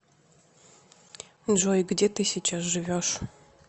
джой где ты сейчас живешь